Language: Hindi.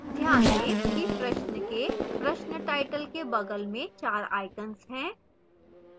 ध्यान दें कि प्रश्न के प्रश्न टाइटल के बगल में 4 icons हैं